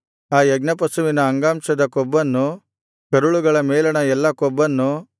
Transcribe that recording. ಆ ಯಜ್ಞಪಶುವಿನ ಅಂಗಾಂಶದ ಕೊಬ್ಬನ್ನು ಕರುಳುಗಳ ಮೇಲಣ ಎಲ್ಲಾ ಕೊಬ್ಬನ್ನು